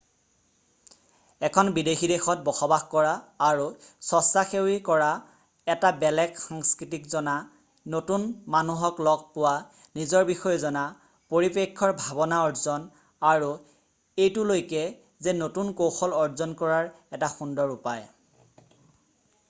এখন বিদেশী দেশত বসবাস কৰা আৰু স্বচ্ছাসেৱী কৰা এটা বেলেগ সংস্কৃতিক জনা নতুন মানুহক লগ পোৱা নিজৰ বিষয়ে জনা পৰিপ্ৰেক্ষৰ ভাৱনা অৰ্জন আৰু এইটোলৈকে যে নতুন কৌশল অৰ্জন কৰাৰ এটা সুন্দৰ উপায় ।